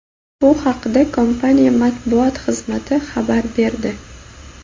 Bu haqda kompaniya Matbuot xizmati xabar berdi.